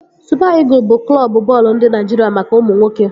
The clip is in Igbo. Supa Ịgụl bụ Klọbu bọọlụ ndị Naịjiria maka ụmụ nwoke